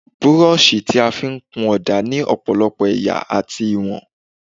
Búrọ́ọ̀ṣì tí a fí ń kun ọ̀dà ní ọ̀pọ̀lọpọ̀ ẹ̀yà àti ìwọ̀n.